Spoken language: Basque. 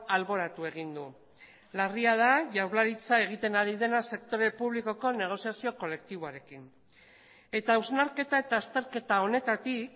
alboratu egin du larria da jaurlaritza egiten ari dena sektore publikoko negoziazio kolektiboarekin eta hausnarketa eta azterketa honetatik